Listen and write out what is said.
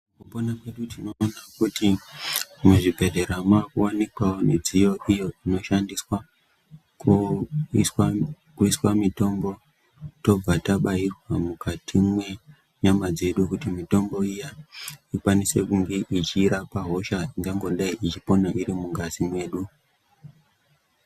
...mupona kwedu tinoona kuti muzvibhedhlera maakuwanikwawo midziyo iyo inoshandiswa kuiswa mitombo. Tobva tabairwa mukati mwenyama dzedu kuti mitombo iya ikwanise kunge ichirapa hosha angangodai ichipona irimungazi mwedu.